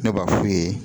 Ne b'a f'u ye